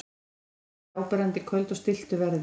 Mest er þetta áberandi í köldu og stilltu veðri.